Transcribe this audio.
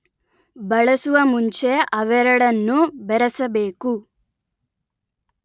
ಬಳಸುವ ಮುಂಚೆ ಅವೆರಡನ್ನೂ ಬೆರೆಸಬೇಕು